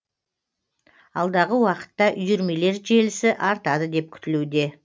алдағы уақытта үйірмелер желісі артады деп күтілуде